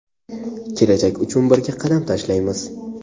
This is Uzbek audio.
Kelajak uchun birga qadam tashlaymiz!.